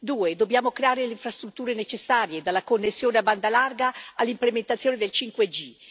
Secondo dobbiamo creare le infrastrutture necessarie dalla connessione a banda larga all'implementazione del 5G.